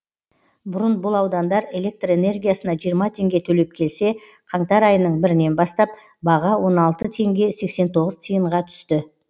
бұрын бұл аудандар электр энергиясына жиырма теңге төлеп келсе қаңтар айының бірінен бастап баға он алты теңге сексен тоғыз тиынға түсті